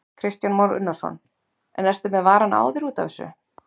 Kristján Már Unnarsson: En ertu með varann á þér út af þessu?